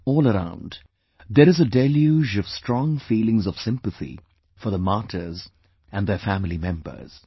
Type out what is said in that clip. All around, there is a deluge of strong feelings of sympathy for the martyrs & their family members